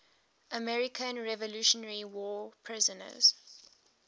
american revolutionary war prisoners